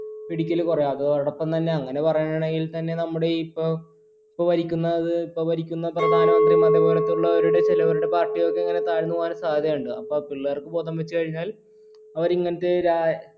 പിടിക്കലുകുറയും അതോടൊപ്പം തന്നെ അങ്ങനെ കുറയണെണെങ്കിൽ നമ്മുടെ ഈ ഇപ്പോ ഭരിക്കുന്ന പ്രധാനമന്ത്രി, അതുപോലത്തെയുള്ള ചിലരുടെ party കൾക്ക് ഇങ്ങനെ താഴ്ന്നു പോകാൻ സാധ്യതയുണ്ട്, അപ്പൊ പിള്ളേർക്ക് ബോധം വെച്ചുകഴിഞ്ഞാൽ അവർ ഇങ്ങനത്തെ